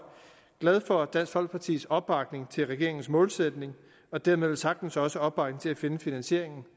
glade for dansk folkepartis opbakning til regeringens målsætning og dermed velsagtens også opbakning til at finde finansieringen